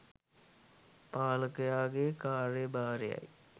පාලකයාගේ කාර්යභාරයයි.